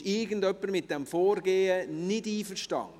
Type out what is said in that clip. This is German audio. Ist irgendjemand nicht mit diesem Vorgehen einverstanden?